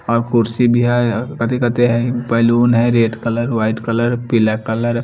और कुर्सी भी हैं कती कती हैं बैलून हैं रेड कलर वाइट कलर पीला कलर --